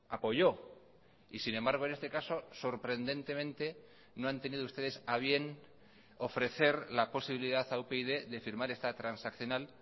apoyó y sin embargo en este caso sorprendentemente no han tenido ustedes a bien ofrecer la posibilidad a upyd de firmar esta transaccional